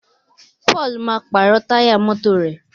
Paul má pààrọ̀ Táyà mọ́tò rẹ